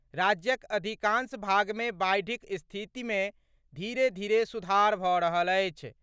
राज्यक अधिकांश भागमे बाढ़िक स्थितिमे धीरे धीरे सुधार भऽ रहल अछि।